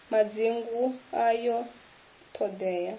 madzingu ayo t hod ea